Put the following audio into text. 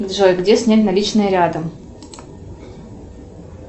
джой где снять наличные рядом